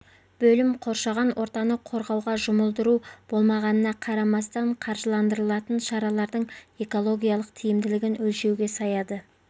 бөлім қоршаған ортаны қорғауға жұмылдыру болмағанына қарамастан қаржыландырылатын шаралардың экологиялық тиімділігін өлшеуге саяды